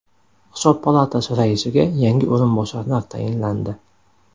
Hisob palatasi raisiga yangi o‘rinbosarlar tayinlandi.